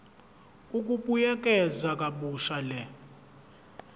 ukubuyekeza kabusha le